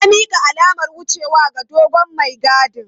Na mika alamar wucewa ga dogon mai gadin.